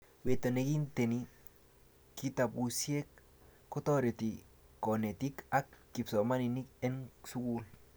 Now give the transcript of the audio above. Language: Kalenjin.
weto nekinteni kitabusiek kotoreti konetik ak kipsomaninik en sukul